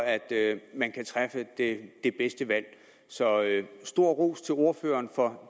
man kan træffe det bedste valg så stor ros til ordføreren for